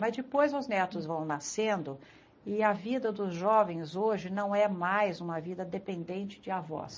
Mas depois os netos vão nascendo e a vida dos jovens hoje não é mais uma vida dependente de avós.